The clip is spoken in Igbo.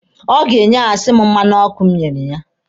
Ọ ga-enyehasi m mmanụ ọkụ m nyere ya.